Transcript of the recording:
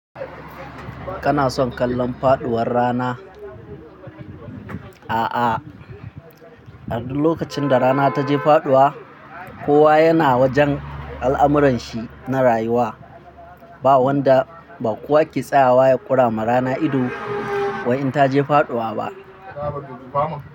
Kana son kallon faɗuwar rana? A'a, a lokacin da rana taje faɗuwa, kowa yana wajen al'amuranshi na rayuwa. Ba wanda ba kowa ke tsayawa ya ƙura ma rana ido wai in ta je faɗuwa ba.